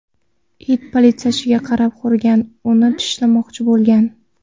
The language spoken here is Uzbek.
It politsiyachiga qarab hurgan, uni tishlamoqchi bo‘lgan.